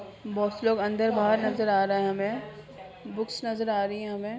--बहुत से लोग अंदर-बहार नजर आ रहे है हमें बुक्स नजर आ रही हैं हमें--